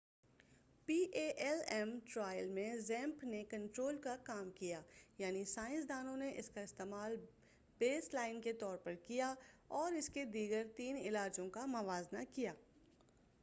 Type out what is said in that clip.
P A L M trial میں زیمیپ نے کنٹرول کا کام کیا یعنی سائنس دانوں نے اس کا استعمال بیس لائن کے طور پر کیا اور اس کے دیگر تین علاجوں کا موازنہ کیا